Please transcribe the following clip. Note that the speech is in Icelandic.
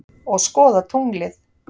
Og skoða tunglið.